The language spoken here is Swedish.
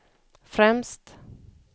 främst